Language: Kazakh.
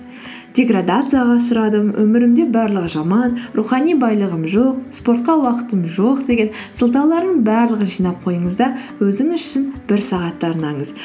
деградацияға ұшырадым өмірімде барлығы жаман рухани байлығым жоқ спортқа уақытым жоқ деген сылтаулардың барлығын жинап қойыңыз да өзіңіз үшін бір сағат арнаңыз